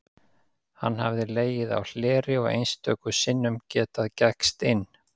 Hann hafði legið á hleri og einstöku sinnum getað gægst inn.